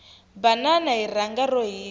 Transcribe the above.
banana hi rhanga ro hisa